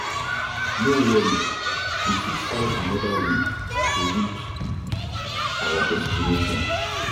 No worry, we fit find anoda way to reach our destination.